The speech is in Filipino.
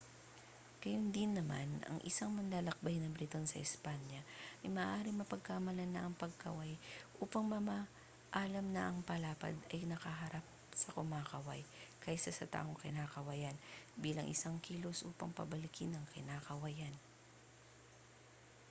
gayundin naman ang isang manlalakbay na briton sa espanya ay maaaring mapagkamalan na ang pagkaway upang mamaalam na ang palad ay nakaharap sa kumakaway kaysa sa taong kinakawayan bilang isang kilos upang pabalikin ang kinakawayan